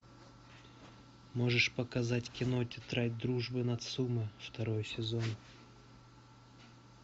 можешь показать кино тетрадь дружбы нацумэ второй сезон